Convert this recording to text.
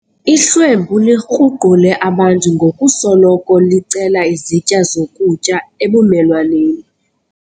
Ihlwempu likruqule abantu ngokusoloko licela izitya zokutya ebumelwaneni.